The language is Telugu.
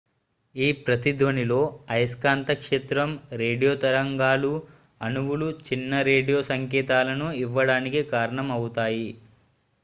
ఈ ప్రతిధ్వనిలో అయస్కాంత క్షేత్రం రేడియో తరంగాలు అణువులు చిన్న రేడియో సంకేతాలను ఇవ్వడానికి కారణం అవుతాయి